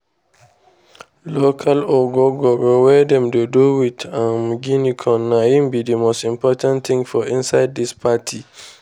local ogogoro wey dem dey do with um guinea corn na im be the most important thing for inside this party.